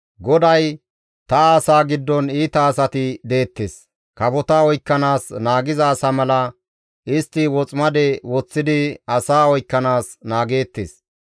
GODAY, «Ta asaa giddon iita asati deettes. Kafota oykkanaas naagiza asa mala istti woximade woththidi asaa oykkanaas naageettes.